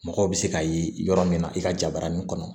Mɔgɔw bɛ se ka ye yɔrɔ min na i ka jabarani kɔnɔ